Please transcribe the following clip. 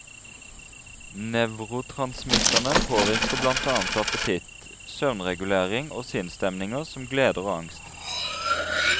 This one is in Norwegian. Nevrotransmitterne påvirker blant annet appetitt, søvnregulering og sinnsstemninger som gleder og angst.